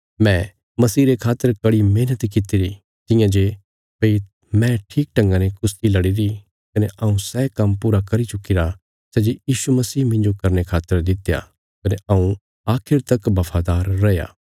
मैं मसीह रे खातर कड़ी मेहणत कित्तिरी तियां जे भई मैं ठीक ढंगा ने कुश्ती लड़ीरी कने हऊँ सै काम्म पूरा करी चुक्कीरा सै जे यीशु मसीह मिन्जो करने खातर दित्या कने हऊँ आखिर तक बफादार रैया